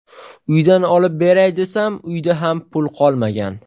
Uydan olib beray desam, uyda ham pul qolmagan”.